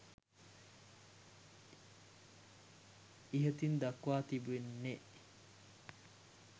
ඉහතින් දක්වා තිබෙන්නේ